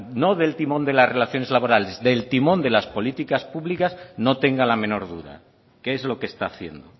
no del timón de las relaciones laborales del timón de las políticas públicas no tenga la menor duda que es lo que está haciendo